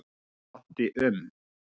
Ég átti um